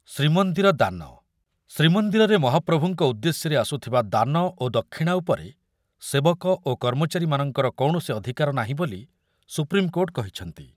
ଶ୍ରୀମନ୍ଦିର ଦାନ ଶ୍ରୀମନ୍ଦିରରେ ମହାପ୍ରଭୁଙ୍କ ଉଦ୍ଦେଶ୍ୟରେ ଆସୁଥିବା ଦାନ ଓ ଦକ୍ଷିଣା ଉପରେ ସେବକ ଓ କର୍ମଚାରୀମାନଙ୍କର କୌଣସି ଅଧିକାର ନାହିଁ ବୋଲିି ସୁପ୍ରିମ୍‌କୋର୍ଟ୍ କହିଛନ୍ତି।